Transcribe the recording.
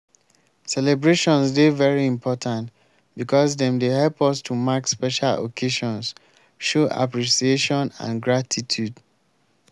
celebrations dey very important because dem dey help us to mark special occasions show appreciation and gratitude.